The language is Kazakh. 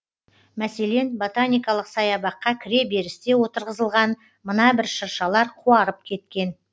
мәселен ботаникалық саябаққа кіре берісте отырғызылған мына бір шыршалар қуарып кеткен